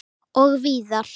Og víðar.